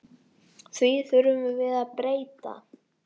Því þurfum við að breyta.